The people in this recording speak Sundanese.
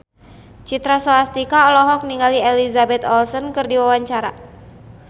Citra Scholastika olohok ningali Elizabeth Olsen keur diwawancara